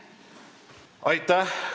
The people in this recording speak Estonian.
Aitäh!